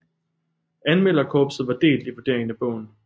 Anmelderkorpset var delt i vurderingen af bogen